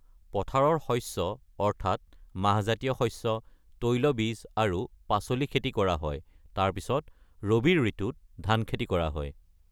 পথাৰৰ শস্য, অৰ্থাৎ মাহজাতীয় শস্য, তৈলবীজ আৰু পাচলি খেতি কৰা হয়, তাৰ পিছত ৰবি ঋতুত ধান খেতি কৰা হয়।